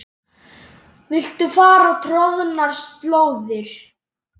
Viltu fara troðnar slóðir?